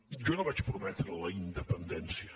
jo no vaig prometre la independència